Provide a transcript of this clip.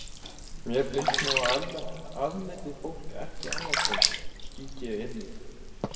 Mér finnst nú að almennt afneiti fólk ekki álfatrú, skýt ég inn í.